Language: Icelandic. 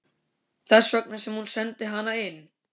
Þess vegna sem hún sendi hana inn.